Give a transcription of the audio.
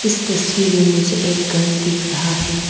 इस तस्वीर में मुझे एक घर दिख रहा है।